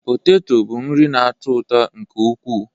Poteto bụ nri na-atọ ụtọ nke ukwuu